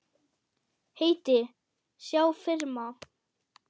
Heiti, sjá firma